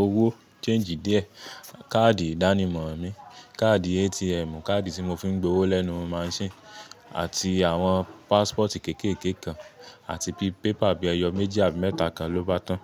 owó, change díẹ̀, káàdì ìdánimọ̀ mi, káàdì ATM, káàdì tí mo fi ń gbowó lẹ́nu machine àti àwọn passport kéékèèké kan àti bi paper bíi ẹyọ méjì àbí mẹ́ta kan ló bá tán.